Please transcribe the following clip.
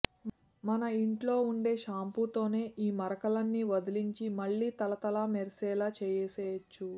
మన ఇంట్లో ఉండే షాంపూతోనే ఈ మరకలన్నీ వదిలించి మళ్లీ తళతళా మెరిసేలా చేసేయొచ్చు